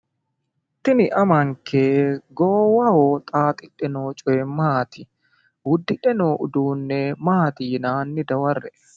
Tini ammanke goowaho xaaxidhe noo coyi maati? Uddidhe noo uduune maati yinanni? Hanni dawarre''e